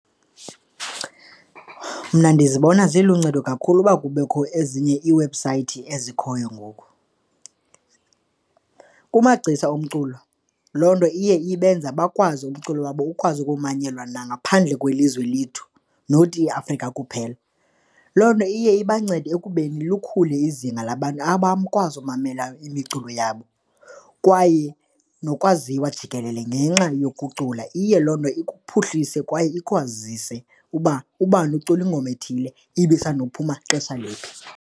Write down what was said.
Mna ndizibona ziluncedo kakhulu uba kubekho ezinye iiwebhusayithi ezikhoyo ngoku. Kumagciza omculo, loo nto iye ibenze bakwazi umculo wabo ukwazi ukumanyelwa nangaphandle kwelizwe lethu not iAfrika kuphela. Loo nto iye ibancede ekubeni lukhule izinga labantu abakwazi umamela imiculo yabo kwaye nokwaziwa jikelele ngenxa yokucula, iye loo nto ikuphuhlise kwaye ikwazise uba ubani ukucula ingoma ethile ibisanda kuphuma xesha liphi.